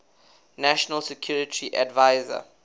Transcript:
national security advisor